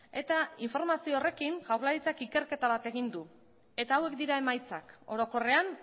eta informazio horrekin jaurlaritzak ikerketa bat egin du eta hauek dira emaitzak orokorrean